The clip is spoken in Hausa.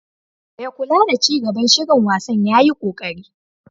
Mai kula da ci gaban shirin wasan yayi koƙari.